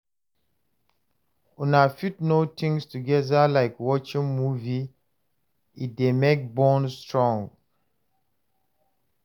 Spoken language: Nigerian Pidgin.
Una fit do things together like watching movie, e dey make bond strong